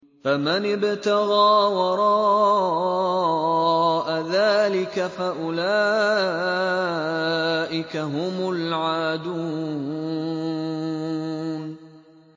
فَمَنِ ابْتَغَىٰ وَرَاءَ ذَٰلِكَ فَأُولَٰئِكَ هُمُ الْعَادُونَ